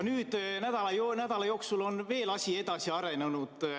Nüüd on nädala jooksul asi veel edasi arenenud.